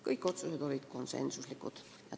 Kõik otsused olid konsensuslikud.